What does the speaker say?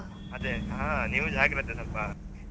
ಅದೆ ಹಾ ನೀವು ಜಾಗ್ರತೆ ನಪ್ಪ .